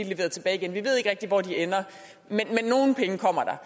leveret tilbage igen vi ved ikke rigtig hvor de ender men nogle penge kommer der